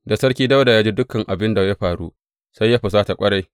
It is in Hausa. Da Sarki Dawuda ya ji dukan abin da ya faru, sai ya husata ƙwarai.